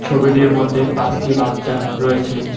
ছবিটির মধ্যে পাঁচটি বাচ্চা রয়েছে।